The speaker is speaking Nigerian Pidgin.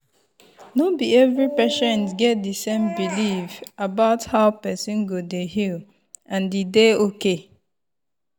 no be every patient get the same belief about how person go dey heal and e dey okay.